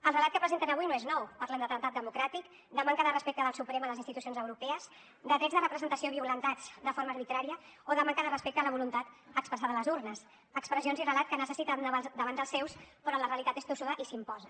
el relat que presenten avui no és nou parlen d’atemptat democràtic de manca de respecte del suprem a les institucions europees de drets de representació violentats de forma arbitrària o de manca de respecte a la voluntat expressada a les urnes expressions i relat que necessiten davant dels seus però la realitat és tossuda i s’imposa